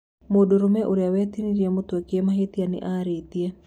Mũndũrũme ũrĩa watinirio mũtwe kĩmahĩtia nĩ arĩtie